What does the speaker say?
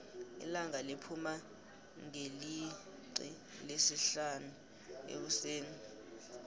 ilanga liphuma ngeliixi lesihlanu ekuseni